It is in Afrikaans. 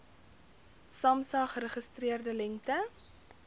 samsa geregistreerde lengte